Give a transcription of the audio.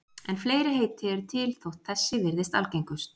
En fleiri heiti eru til þótt þessi virðist algengust.